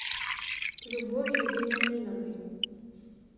любовью вениаминовной